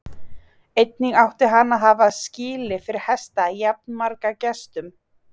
Einnig átti hann að hafa skýli fyrir hesta jafnmarga gestum.